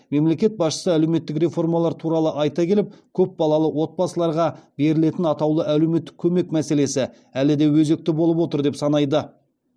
мемлекет басшысы әлеуметтік реформалар туралы айта келіп көпбалалы отбасыларға берілетін атаулы әлеуметтік көмек мәселесі әлі де өзекті болып отыр деп санайды